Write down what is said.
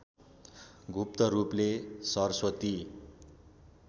गुप्त रूपले सरस्वती